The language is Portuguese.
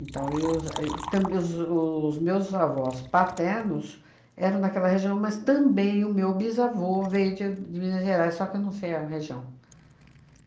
Então, e os e e tamb os os meus avós paternos eram daquela região, mas também o meu bisavô veio de de Minas Gerais, só que eu não sei a região.